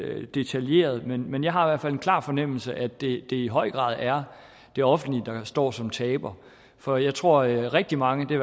er detaljeret nok men jeg har i hvert fald en klar fornemmelse af at det i høj grad er det offentlige der står som taberen for jeg tror at rigtig mange det